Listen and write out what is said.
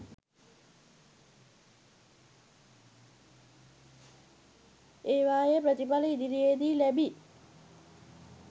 ඒවායේ ප්‍රතිඵල ඉදිරියේදී ලැබි